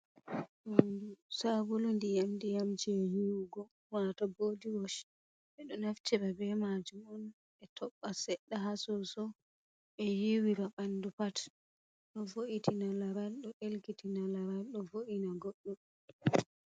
Saabulu ndiyam ndiyam jei yiwugo wato bodi wosh ɓe ɗo naftira be majum on ɓe toɓɓa seɗɗa ha soso ɓe yiiwira banɗu pat, do vo’itina laral ɗo ɗelkitina laral ɗo vo’ina goɗɗo.